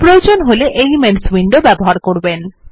প্রয়োজন হলে elements window ব্যবহার করবেন